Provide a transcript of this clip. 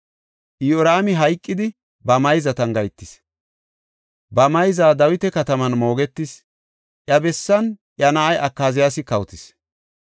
Iyoraami hayqidi, ba mayzatan gahetis. Ba mayza Dawita Kataman moogetis; iya bessan iya na7ay Akaziyaasi kawotis.